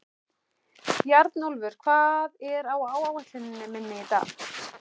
Bjarnólfur, hvað er á áætluninni minni í dag?